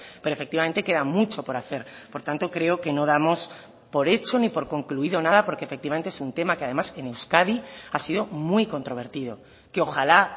pero efectivamente queda mucho por hacer por tanto creo que no damos por hecho ni por concluido nada porque efectivamente es un tema que además en euskadi ha sido muy controvertido que ojala